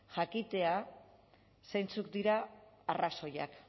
jakitea zeintzuk diren arrazoiak